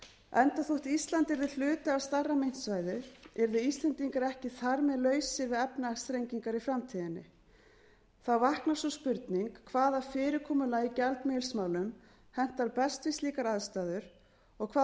enda þótt ísland yrði hluti af stærra myntsvæði yrðu íslendingar ekki þar með lausir við efnahagsþrengingar í framtíðinni þá vaknar sú spurning hvaða fyrirkomulag í gjaldmiðilsmálum hentar best við slíkar aðstæður og hvaða